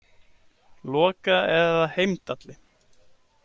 Loka eða Heimdalli.